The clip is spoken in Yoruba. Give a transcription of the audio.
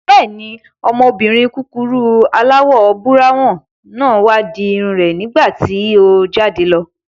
Bẹ́ẹ̀ni, ọmọbìnrin kúkurú aláwọ̀ búráwùn náà wá di irun rẹ̀ nígbàtí o jáde lọ